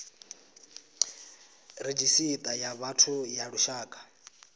redzhisita ya vhathu ya lushaka